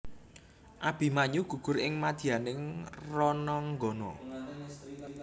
Abimanyu gugur ing madyaning rananggana